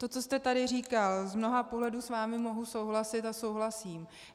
To, co jste tady říkal - z mnoha pohledů s vámi mohu souhlasit a souhlasím.